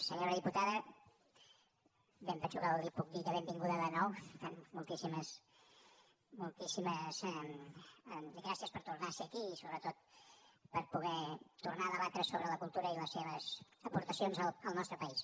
senyora diputada bé em penso que li puc dir que benvinguda de nou per tant moltíssimes gràcies per tornar a ser aquí i sobretot per poder tornar a debatre sobre la cultura i les seves aportacions al nostre país